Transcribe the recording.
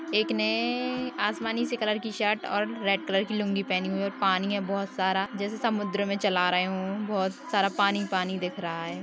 एक ने-ऐ-ऐ-ऐ आसमानी से कलर की शर्ट और रेड कलर की लुंगी पहनी हुई है और पानी है बहुत सारा जैसे समुद्र में चला रहे हो बहुत सारा पानी-पानी दिख रहा है।